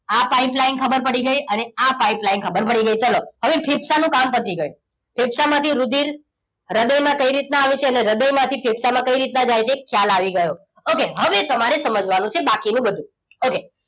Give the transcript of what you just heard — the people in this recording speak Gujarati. આ pipeline ખબર પડી ગઈ અને આ pipeline ખબર પડી ગઈ ચલો હવે ફેફસાનું કામ પતી ગયું ફેફસામાંથી રુધિર હૃદયમાં કેવી રીતે આવે છે અને હૃદય માંથી ફેફસામાં કેવી રીતે જાય છે એ ખ્યાલ આવી ગયો okay હવે તમારે સમજવાનું છે બાકીનું બધું okay